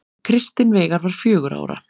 Kristinn Veigar var fjögurra ára.